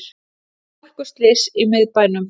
Hálkuslys í miðbænum